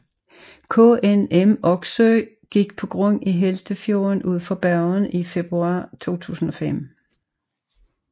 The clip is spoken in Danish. KNM Oksøy gik på grund i Hjeltefjorden ud for Bergen i februar 2005